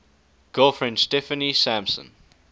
girlfriend steffanie sampson